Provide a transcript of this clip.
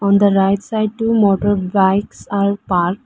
On the right side two motorbikes are parked.